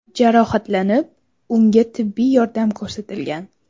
jarohatlanib, unga tibbiy yordam ko‘rsatilgan.